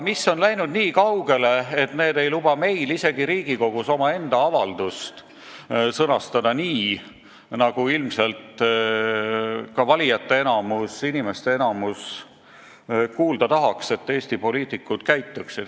Asi on läinud nii kaugele, et need ei luba meil isegi Riigikogus omaenda avaldust sõnastada nii, nagu ilmselt valijate, inimeste enamus tahaks, et Eesti poliitikud käituksid.